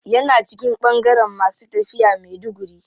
Yana cikin bangaren masu tafiya maiduguri.